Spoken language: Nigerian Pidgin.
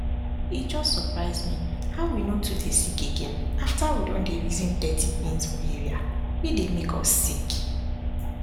e just surprise me how we no too dey sick again after we don dey reason dirty things for area wey dey make us sick